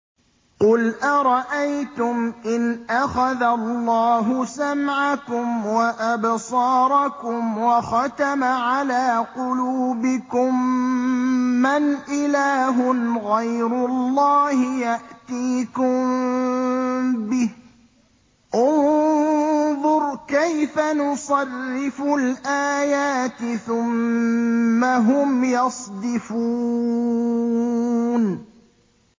قُلْ أَرَأَيْتُمْ إِنْ أَخَذَ اللَّهُ سَمْعَكُمْ وَأَبْصَارَكُمْ وَخَتَمَ عَلَىٰ قُلُوبِكُم مَّنْ إِلَٰهٌ غَيْرُ اللَّهِ يَأْتِيكُم بِهِ ۗ انظُرْ كَيْفَ نُصَرِّفُ الْآيَاتِ ثُمَّ هُمْ يَصْدِفُونَ